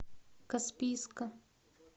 каспийска